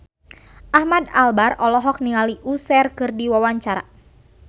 Ahmad Albar olohok ningali Usher keur diwawancara